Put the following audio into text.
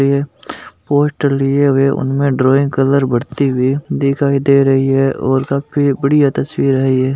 Poster लिए हुए उनमें ड्राइंग कलर भरती हुई दिखाई दे रही है और काफी बढ़िया तस्वीर है यह।